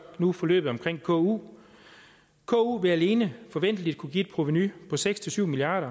nu forløbet omkring ku ku vil alene forventeligt kunne give et provenu på seks syv milliard